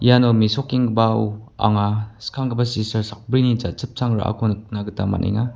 iano mesokenggipao anga skanggipa sistar sakbrini jachipchang ra·ako nikna gita man·enga.